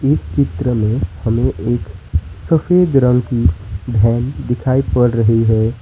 इस चित्र में हमें एक सफेद रंग की वैन दिखाई पड़ रही है।